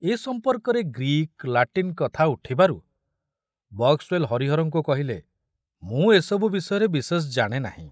ଏ ସମ୍ପର୍କରେ Greek, Latin କଥା ଉଠିବାରୁ ବକ୍ସୱେଲ ହରିହରଙ୍କୁ କହିଲେ, ମୁଁ ଏସବୁ ବିଷୟରେ ବିଶେଷ ଜାଣେ ନାହିଁ।